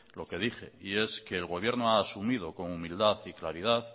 lo que dije y es que el gobierno ha asumido con humildad y claridad